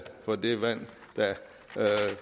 for det vand